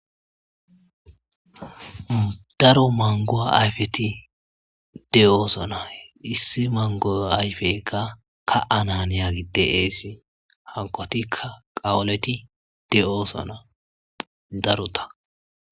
Daro mango ayfeti de'osona issi mango ayfeyikka ka'ana haniyagey de'esi hankotikka qawoleti de'osona darota